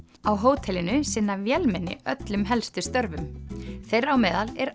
á hótelinu sinna vélmenni öllum helstu störfum þeirra á meðal er